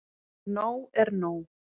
Nóg er nóg.